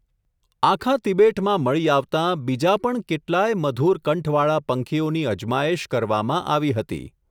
આખા તિબેટમાં મળી આવતાં, બીજાં પણ કેટલાંય મધુર કંઠવાળા પંખીઓની અજમાયેશ કરવામાં આવી હતી.